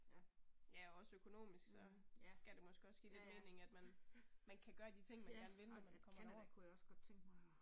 Ja. Mh, ja. Ja ja, ja ja, mh ja ej men Canada kunne jeg også godt tænke mig og